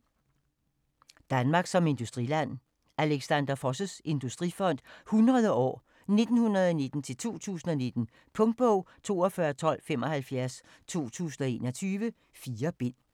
Danmark som industriland: Alexander Foss' Industrifond i 100 år: 1919-2019 Punktbog 421275 2021. 4 bind.